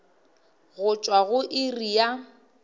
go tšwa go iri ya